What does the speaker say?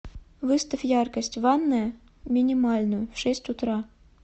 выставь яркость ванная минимальную в шесть утра